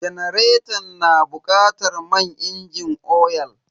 Janaretan na bukatar man inji oyal.